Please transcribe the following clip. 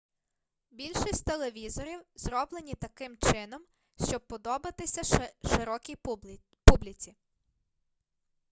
більшість телевізорів зроблені таким чином щоб подобатися широкій публіці